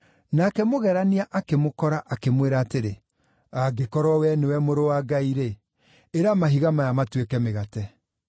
Nake mũgerania akĩmũkora, akĩmwĩra atĩrĩ, “Angĩkorwo wee nĩwe Mũrũ wa Ngai-rĩ, ĩra mahiga maya matuĩke mĩgate.”